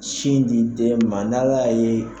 Sin di den ma n'ala ya ye